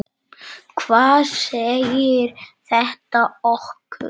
Hvað segir þetta okkur?